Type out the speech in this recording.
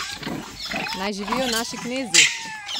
Naj živijo naši knezi!